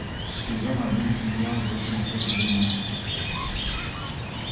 сезон один сериал готэм часть двенадцать